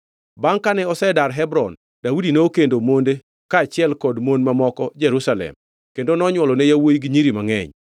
Bangʼ kane osedar Hebron, Daudi nokendo monde kaachiel kod mon mamoko Jerusalem kendo nonywolone yawuowi gi nyiri mangʼeny.